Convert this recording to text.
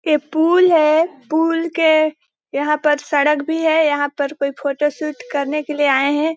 ये पूल है पूल के यहाँ पर सड़क भी है यहाँ पर कोई फोटो शूट करने के लिए आए हैं ।